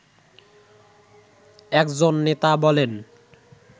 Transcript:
একজন নেতা বলেন